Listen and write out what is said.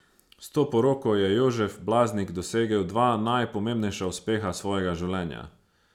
S to poroko je Jožef Blaznik dosegel dva najpomembnejša uspeha svojega življenja.